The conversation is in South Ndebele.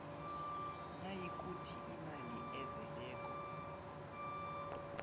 nayikuthi imali ezeleko